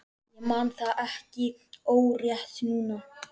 Ég man það ekki orðrétt núna.